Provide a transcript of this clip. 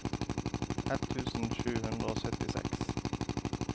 ett tusen sju hundre og syttiseks